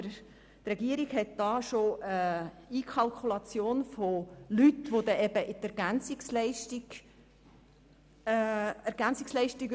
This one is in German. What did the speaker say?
Die Regierung hat bereits jene Leute einkalkuliert, welche dann EL erhalten.